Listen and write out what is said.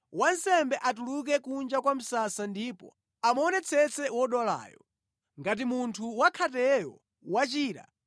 Wansembe atuluke kunja kwa msasa ndipo amuonetsetse wodwalayo. Ngati munthu wakhateyo wachira,